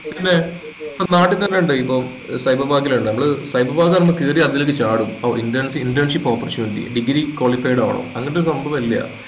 പിന്നേ നാട്ടിൽ തന്നെ ഉണ്ട് ഇപ്പൊ cyber park ലള്ളേ നമ്മള് cyber park ആവുമ്പൊ അപ്പൊ കേറി അതിലേക്ക് ചാടും interns ന് internship opportunity degree qualified ആവണം അങ്ങനൊരു സംഭവില്ല